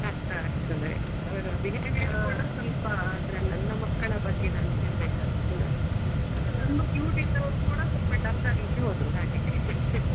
ಕಷ್ಟ ಆಗ್ತದೆ ಅವರ behaviour ಕೂಡ ಸ್ವಲ್ಪ ಅಂದ್ರೆ ನನ್ನ ಮಕ್ಕಳ ಬಗ್ಗೆ ನಾನ್ ಹೇಳ್ಬೇಕಾದ್ರು ಕೂಡ ತುಂಬಾ cute ಇದ್ದವ್ರು ಕೂಡ ಸ್ವಲ್ಪ dull ಆಗ್ಲಿಕ್ಕೆ ಹೋದ್ರು ಹಾಗೆ .